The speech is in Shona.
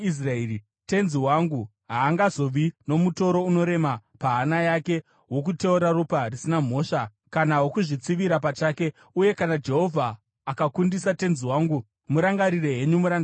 tenzi wangu haangazovi nomutoro unorema pahana yake wokuteura ropa risina mhosva kana wokuzvitsivira pachake. Uye kana Jehovha akakundisa tenzi wangu, murangarire henyu murandakadzi wenyu.”